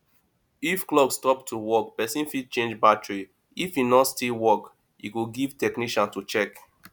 if clock stop to work person fit change battary if e no still work e go give technician to check